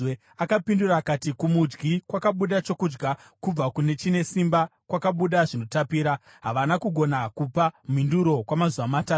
Akapindura akati, “Kumudyi kwakabuda chokudya; kubva kune chine simba kwakabuda zvinotapira.” Havana kugona kupa mhinduro kwamazuva matatu.